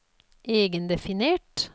egendefinert